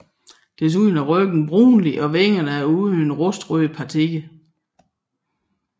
Desuden er ryggen brunlig og vingerne er uden rustrøde partier